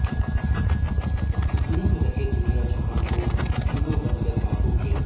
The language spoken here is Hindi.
मूंड रहे दुनिया जहान को तीनों बंदर बापू के